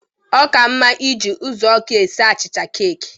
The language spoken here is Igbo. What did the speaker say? Ọ ka mma iji ụzụọkụ esi achịcha keeki.